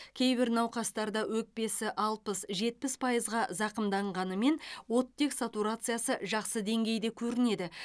кейбір науқастарда өкпесі алпыс жетпіс пайызға зақымданғанымен оттек сатурациясы жақсы деңгейде көрінеді